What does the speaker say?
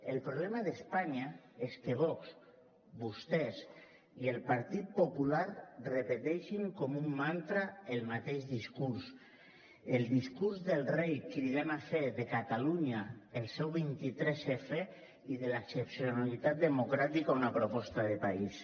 el problema d’espanya és que vox vostès i el partit popular repeteixin com un mantra el mateix discurs el discurs del rei cridant a fer de catalunya el seu vint tres f i de l’excepcionalitat democràtica una proposta de país